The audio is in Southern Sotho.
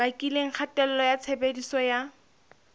bakileng kgatello ya tshebediso ya